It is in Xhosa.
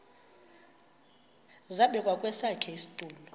zabekwa kwesakhe isitulo